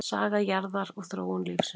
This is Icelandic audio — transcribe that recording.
Saga jarðar og þróun lífsins.